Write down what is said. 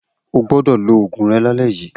O gbọdọ̀ lo òògùn lálẹ yíi.